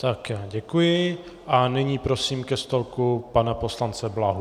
Já děkuji a nyní prosím ke stolku pana poslance Blahu.